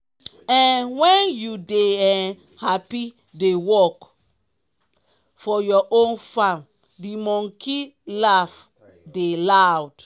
um wen you dey um happy dey work for your own farm di monkey laf dey loud.